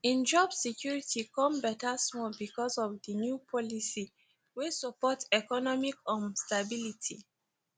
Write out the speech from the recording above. im job security kon better small bcoz of di new policies wey support economic um stability